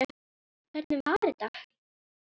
Hvernig var þetta?